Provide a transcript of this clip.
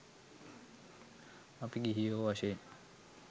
අපි ගිහියො වශයෙන්